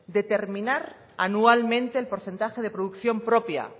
determinar anualmente el porcentaje de producción propia